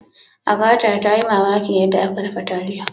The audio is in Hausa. Agatha ta yi mamakin yadda ake dafa taliyar.